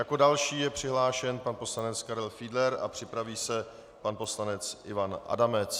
Jako další je přihlášen pan poslanec Karel Fiedler a připraví se pan poslanec Ivan Adamec.